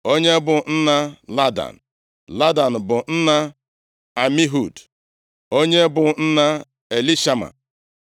onye bụ nna Ladan, Ladan bụ nna Amihud, onye bụ nna Elishama.